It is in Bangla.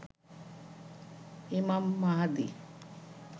ইমাম মাহাদি